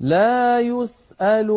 لَا يُسْأَلُ